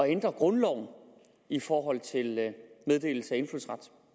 ændre grundloven i forhold til meddelelse